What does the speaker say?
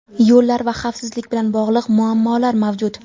yo‘llar va xavfsizlik bilan bog‘liq muammolar mavjud.